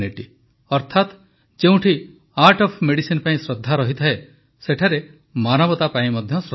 ଅର୍ଥାତ ଯେଉଁଠି art of medicine ପାଇଁ ଶ୍ରଦ୍ଧା ରହିଥାଏ ସେଠାରେ ମାନବତା ପାଇଁ ମଧ୍ୟ ଶ୍ରଦ୍ଧା ଥାଏ